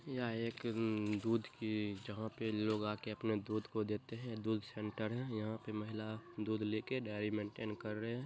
यह एक उम्म्म दूध की जहाँ पे लोग आके अपने दूध को देते हैं दूध सेंटर है। यहाँ पे महिला दूध लेके डायरी मैन्टैन कर रहे हैं।